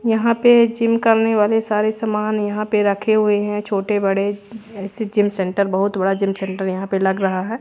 यहां पे जिम करने वाले सारे सामान यहां पे रखे हुए हैं छोटे बड़े ऐसे जिम सेंटर बहुत बड़ा जिम सेंटर यहां पे लग रहा है।